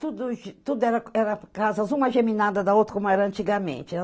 Tudo tudo era era casas, uma geminada da outra, como era antigamente.